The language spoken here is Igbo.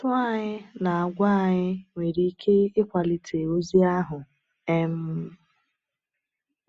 Ụ́tụ́ anyị na àgwà anyị nwere ike ịkwàlite ozi ahụ. um